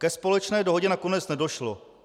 Ke společné dohodě nakonec nedošlo.